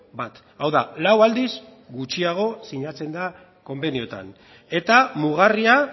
bat hau da lau aldiz gutxiago sinatzen da konbenioetan eta mugarria